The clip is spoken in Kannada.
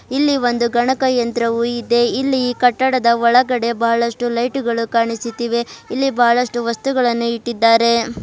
ಇಲ್ಲಿ ಒಂದು ಗಣಕಯಂತ್ರವು ಇದೆ ಇಲ್ಲಿ ಕಟ್ಟಡದ ಒಳಗಡೆ ಬಹಳಷ್ಟು ಲೈಟು ಗಳು ಕಾಣಿಸುತ್ತಿವೆ ಇಲ್ಲಿ ಬಹಳಷ್ಟು ವಸ್ತುಗಳನ್ನು ಇಟ್ಟಿದ್ದಾರೆ.